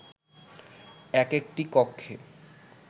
একেকটি কক্ষে